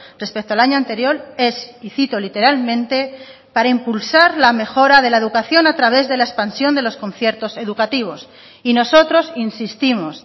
respecto al año anterior es y cito literalmente para impulsar la mejora de la educación a través de la expansión de los conciertos educativos y nosotros insistimos